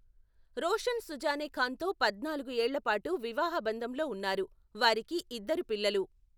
రోషన్ సుజానే ఖాన్తో పద్నాలుగు ఏళ్ళ పాటు వివాహబంధంలో ఉన్నారు, వారికి ఇద్దరు పిల్లలు.